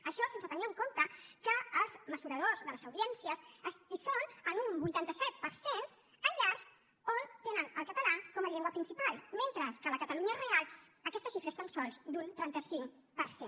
això sense tenir en compte que els mesuradors de les audiències són en un vuitanta set per cent en llars on tenen el català com a llengua principal mentre que a la catalunya real aquesta xifra és tan sols d’un trenta cinc per cent